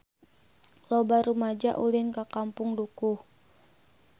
Loba rumaja ulin ka Kampung Dukuh